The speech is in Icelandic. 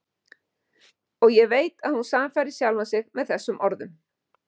Og ég veit að hún sannfærir sjálfa sig með þessum orðum.